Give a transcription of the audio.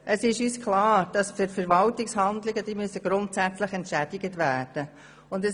Es ist uns klar, dass Verwaltungshandlungen grundsätzlich entschädigt werden müssen.